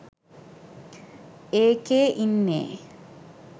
ඒකේ ඉන්නේ